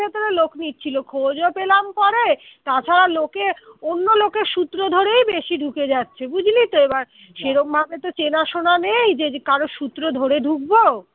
ভেতরে লোক নিচ্ছিল খোঁজও পেলাম পরে তাছাড়া লোকে অন্য লোকের সূত্র ধরেই বেশি ঢুকে যাচ্ছে বুঝলি তো এবার সেরকম ভাবে আমি যে কারো সূত্র ধরে ঢুকবো